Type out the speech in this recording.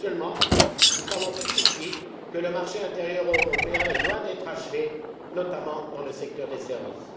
Seulement, nous savons tous ici que le marché intérieur européen est loin d'être achevé, notamment dans le secteur des services.